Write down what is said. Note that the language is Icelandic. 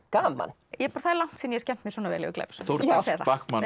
gaman það er langt síðan ég hef skemmt mér svona vel yfir glæpasögu Þórdís